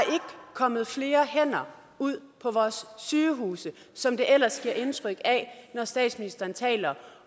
kommet flere hænder ud på vores sygehuse som der ellers gives indtryk af når statsministeren taler